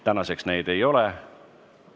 Täna neid ei ole.